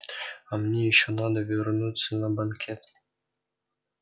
а мне ещё надо вернуться на банкет